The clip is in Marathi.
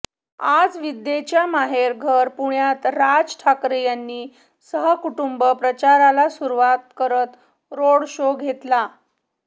आज विद्येच्या माहेर घर पुण्यात राज ठाकरे यांनी सहकुटुंब प्रचाराला सुरुवात करत रोड शो घेतला